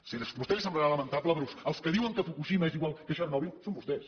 sí a vostè li semblarà lamentable però els que diuen que fukushima és igual que txernòbil són vostès